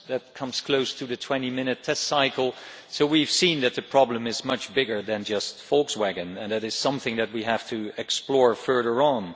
That comes close to the 20 minute test cycle, so we have seen that the problem is much bigger than just Volkswagen and that is something that we have to explore further on.